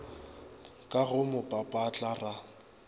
ka go mo papatla ra